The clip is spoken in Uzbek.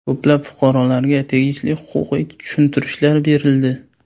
Ko‘plab fuqarolarga tegishli huquqiy tushuntirishlar berildi.